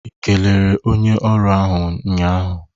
I kelere onye ọrụ ahụ nnya ahụ?